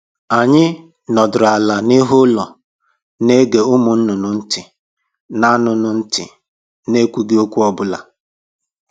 Anyị nọdịrị ala n'ihu ụlọ, na ege ụmụ nnụnụ ntị na nnụnụ ntị na ekwughị okwu ọ bụla